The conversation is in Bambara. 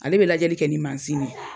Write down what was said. Ale be lajɛli kɛ ni mansin ye